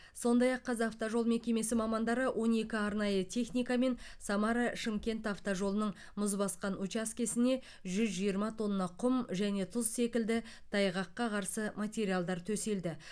сондай ақ қазавтожол мекемесі мамандары он екі арнайы техникамен самара шымкент автожолының мұз басқан учаскесіне жүз жиырма тонна құм және тұз секілді тайғаққа қарсы материалдар төселді